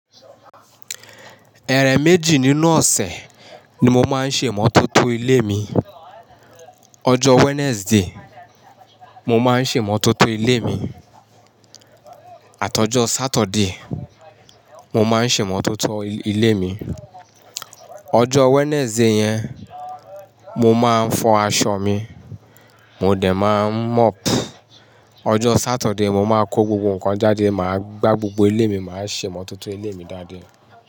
Ẹ̀rẹ̀ méjì nínú ọ̀sẹ̀ ni mo máa ń ṣe mọ́tótó ilé mi. Ọjọ́ Wednesday, mo máa ń ṣe mọ́tótó ilé mi. Àtọ́jọ́ Saturday, mo máa ń ṣe mọ́tótó ilé mi. Ọjọ́ Wednesday yẹn, mo máa ń fọ aṣọ mi, mo dẹ̀ máa ń mop. Ọjọ́ Saturday, mo máa kó gbogbo nǹkan jáde, màá gbá gbogbo ilé mi, màá ṣe mọ́tótó ilé mi daáda.